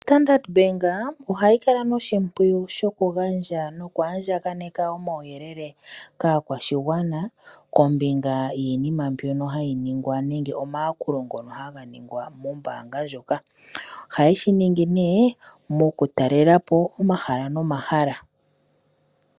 Standard Bank ohayi kala noshimpwiyu shoku gandja noku andja kaneka omauyelele kaakwashigwana kombinga yiinima mbyoka hayi ningwa nenge omayakulo ngoka haga ningwa mombaanga ndjoka, ohaye shi ningi nee mokutalela po omahala nomahala.